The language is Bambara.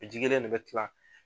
O ji kelen de bɛ kilan